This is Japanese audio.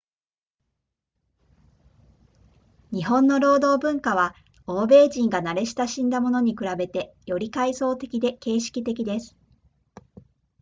日本の労働文化は欧米人が慣れ親しんだものに比べてより階層的で形式的です